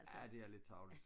ja det er lidt tarveligt